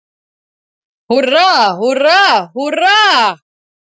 Húrra, húrra, HÚRRA!